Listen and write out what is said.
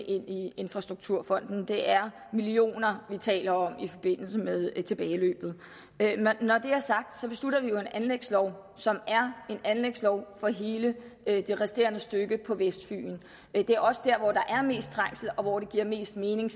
i infrastrukturfonden det er millioner vi taler om i forbindelse med tilbageløbet når det er sagt beslutter vi jo en anlægslov som er en anlægslov for hele det resterende stykke på vestfyn det er også dér hvor der er mest trængsel og hvor det giver mest mening